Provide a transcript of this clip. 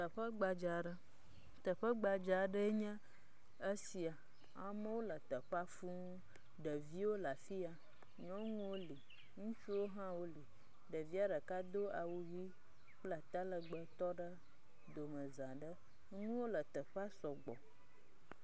Teƒe gbadze ɖe. teƒe gbadza aɖe enye esia. Amewo le teƒea fũu. Ɖeviwo le afia, nyɔnuwo li, ŋutsuwo hã woli. Ɖevia ɖeka hã do awu ʋi kple atalegbe tɔ ɖe domeza ɖe. Nuwo le teƒe sɔgbɔ.